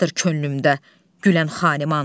Başqadır könlümdə gülən Xaniman.